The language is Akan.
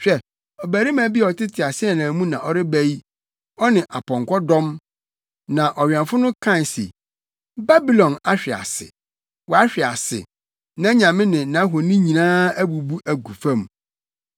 Hwɛ, ɔbarima bi a ɔte teaseɛnam mu na ɔreba yi ɔne apɔnkɔ dɔm. Na ɔwɛmfo no kae se, ‘Babilon ahwe ase, wahwe ase! Nʼanyame ne nʼahoni nyinaa abubu agu fam!’ ”